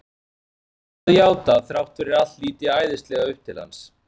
Ég verð líka að játa að þrátt fyrir allt lít ég æðislega upp til hans.